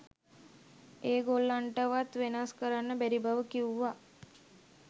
ඒ ගොල්ලන්ටවත් වෙනස් කරන්න බැරි බව කිව්වා.